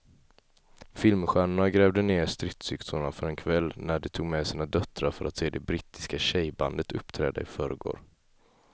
Filmstjärnorna grävde ned stridsyxorna för en kväll när de tog med sina döttrar för att se det brittiska tjejbandet uppträda i förrgår.